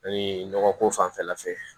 nɔgɔ ko fanfɛla fɛ